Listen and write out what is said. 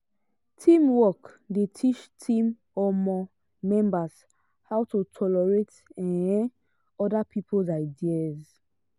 teamwork dey teach team um members how to tolerate um other people's ideas.